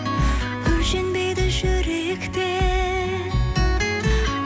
өлшенбейді жүректе